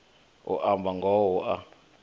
u amba ngoho hu a